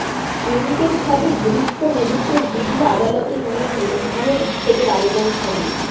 প্রেমিকের সাথে ঘনিষ্ঠ মুহূর্তের ভিডিও আদালতে নিয়ে গিয়ে বিবাহ বিচ্ছেদের আবেদন স্বামীর